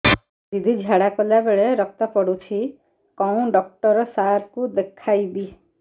ଦିଦି ଝାଡ଼ା କଲା ବେଳେ ରକ୍ତ ପଡୁଛି କଉଁ ଡକ୍ଟର ସାର କୁ ଦଖାଇବି